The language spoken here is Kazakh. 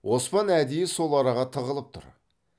оспан әдейі сол араға тығылып тұр